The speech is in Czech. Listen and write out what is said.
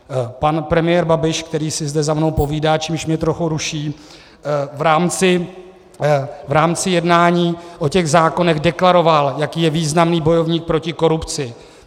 Pan premiér Babiš - který si zde za mnou povídá, čímž mě trochu ruší - v rámci jednání o těch zákonech deklaroval, jaký je významný bojovník proti korupci.